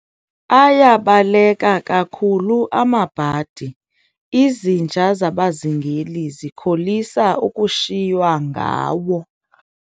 Ayabaleka kakhulu amabhadi, izinja zabazingeli zikholisa ukushiywa ngawo.